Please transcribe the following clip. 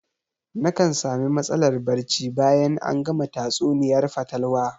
Nakan sami matsalar barci bayan an gama tatsuniyar fatalwa